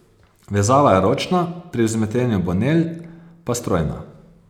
Vezava je ročna, pri vzmetenju bonell pa strojna.